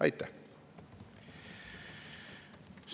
Aitäh!